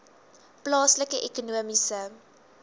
plaaslike ekonomiese